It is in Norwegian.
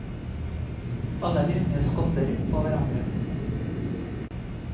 Alle de unge skotter på hverandre.